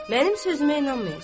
Mənim sözümə inanmayacaq.